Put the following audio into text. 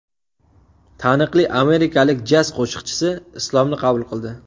Taniqli amerikalik jaz qo‘shiqchisi Islomni qabul qildi.